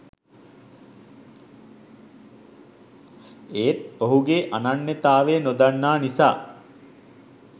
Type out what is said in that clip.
ඒත් ඔහුගේ අනන්‍යතාවය නොදන්නා නිසා